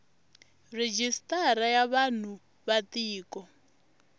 rejistara ya vanhu va tiko